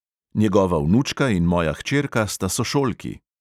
Njegova vnučka in moja hčerka sta sošolki.